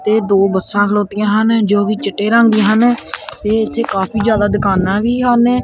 ਤੇ ਦੋ ਬੱਸਾਂ ਖਲੋਤੀਆਂ ਹਨ ਜੋ ਕਿ ਚਿੱਟੇ ਰੰਗ ਦੀਆਂ ਹਨ ਤੇ ਇਥੇ ਕਾਫੀ ਜਿਆਦਾ ਦੁਕਾਨਾਂ ਵੀ ਹਨ।